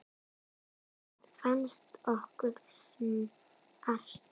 Það fannst okkur smart.